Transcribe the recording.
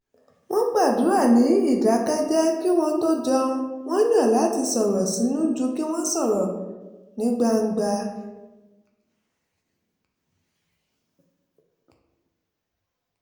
wọ́n gbàdúrà ní ìdákẹ́jẹ́ẹ́ kí wọ́n tó jẹun wọ́n yàn láti sọ̀rọ̀ sínú ju kí wọ́n sọ ọ́ ní gbangba